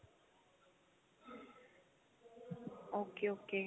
okay okay